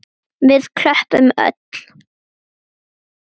Við klöppum öll.